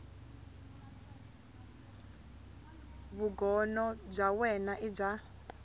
vugono bya wena i bya